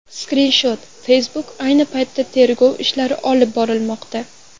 Skrinshot: Facebook Ayni paytda tergov ishlari olib borilmoqda.